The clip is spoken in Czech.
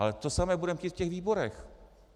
Ale to samé budeme chtít v těch výborech.